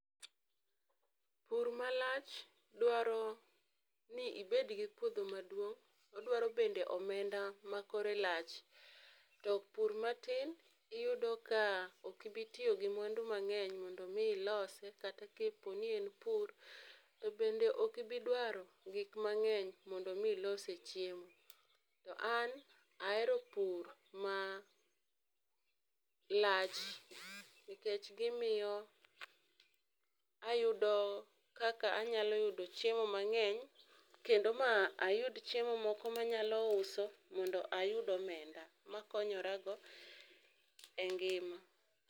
Pur malach dwaro ni ibed gi puodho maduong' odwaro bende omenda makore lach to pur matin iyudo ka ok ibi tiyo gi mwandu mang'eny mondo mi ilose kata ka en bur to bende ok ibi dwaro gik mang'eny mondo mi ilose chiemo. To an ahero pur malach nikech gimiyo ayudo kaka anyalo yudo chiemo mang'eny kendo ma ayud chiemo moko manyalo uso mondo ayud omenda makonyorago e ngima.